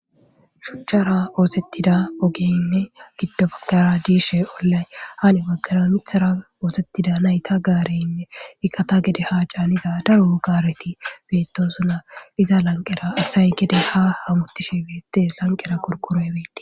shuchchara oosettida ogeynne giddo bakara diishe ollay haani baggara mithara oosettida nayta gaareynne iqata gede haa caaniza daru gaareti bettosuna iza lanqera asay kede ha hamutishe beete lanqera qorqoroy beetes